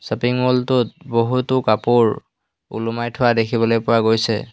Shopping mall টোত বহুতো কাপোৰ ওলোমাই থোৱা দেখিবলৈ পোৱা গৈছে।